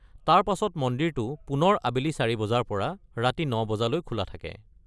তাৰপাছত মন্দিৰটো পুনৰ আবেলি ৪ বজাৰ পৰা ৰাতি ৯ বজালৈ খোলা থাকে।